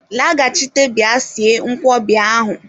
Laghachite bịa sie nkwobi ahu!